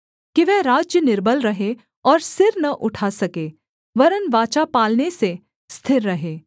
कि वह राज्य निर्बल रहे और सिर न उठा सके वरन् वाचा पालने से स्थिर रहे